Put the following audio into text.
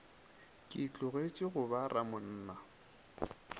ke tlogetše go ba ramonna